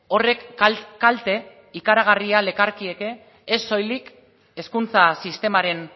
horrek kalte ikaragarria lekarkieke ez soilik hezkuntza sistemaren